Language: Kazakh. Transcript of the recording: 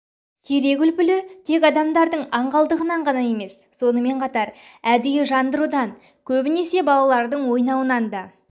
терек үлпілі тек адамдардың аңғалдығынан ғана емес сонымен қатар әдейі жандырудан көбінесе балалрдың ойнауынан да